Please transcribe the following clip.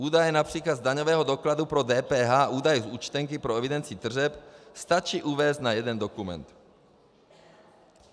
Údaje například z daňového dokladu pro DPH, údaje z účtenky pro evidenci tržeb, stačí uvést na jeden dokument.